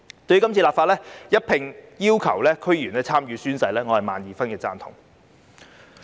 對於今次立法要求區議員一併進行宣誓，我表示萬二分贊同。